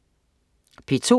P2: